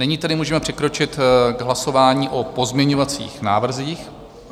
Nyní tedy můžeme přikročit k hlasování o pozměňovacích návrzích.